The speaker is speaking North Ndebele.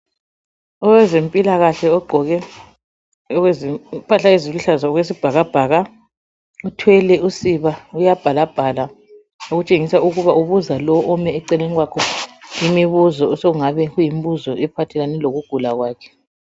Owezempilakahle ogqoke impahla eziluhlaza okwesibhakabhaka, uthwele usiba uyabhalabhala okutshengisa ukuba ubuza lo ome eceleni kwakhe imibuzo osokungaba yimibuzo ephathelane lokugula kwakhe.